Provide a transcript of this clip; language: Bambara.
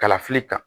Kalafili kan